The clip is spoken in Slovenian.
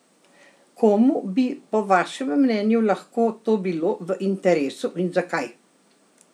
Komu bi po vašem mnenju lahko to bilo v interesu in zakaj?